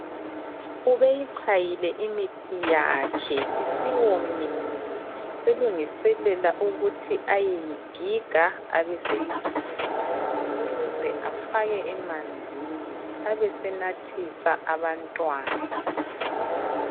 Ubeyichayile imithi yakhe. Isiwomile selungiselela ukuthi ayeyigiga abeseyichola, kuze afake emanzini abesenathisa abantwana.